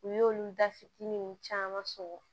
U y'olu da fitininw caman sɔrɔ